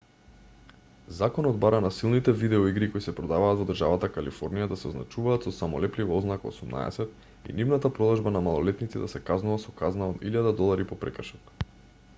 законот бара насилните видео игри кои се продаваат во државата калифорнија да се означуваат со самолеплива ознака 18 и нивната продажба на малолетници да се казнува со казна од $1000 по прекршок